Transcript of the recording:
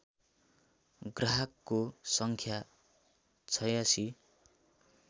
ग्राहकको सङ्ख्या ८६